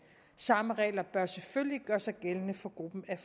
samme regler bør selvfølgelig gøre sig gældende for gruppen af